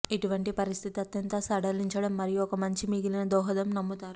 ఇటువంటి పరిస్థితి అత్యంత సడలించడం మరియు ఒక మంచి మిగిలిన దోహదం నమ్ముతారు